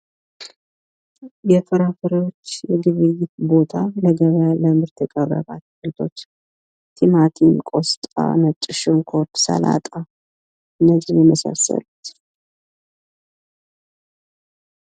የፍራፍሬዎች የግብይት ቦታ ለገበያ ለምርት የቀረቡት አይነቶች ቲማቲም፣ ቆስጣ፣ ነጭ ሽንኩርት፣ ሰላጣ እነዚህን የመሳሰሉት።